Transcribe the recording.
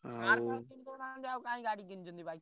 Car ଫାର କିଣିଦୁନାହାନ୍ତି ଆଉ କାଇଁ ଗାଡି କିଣୁଛନ୍ତି bike ?